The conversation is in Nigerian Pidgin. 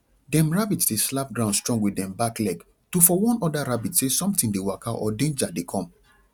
dem rabbit dey slap ground strong with dem back leg to for warn oda rabbit se somtin dey waka or denja dey com